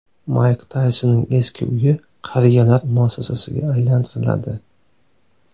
Mayk Taysonning eski uyi qariyalar muassasasiga aylantiriladi.